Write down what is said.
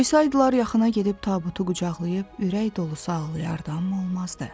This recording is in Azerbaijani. Qoysaydılar yaxına gedib tabutu qucaqlayıb ürək dolusu ağlayardı, amma olmazdı.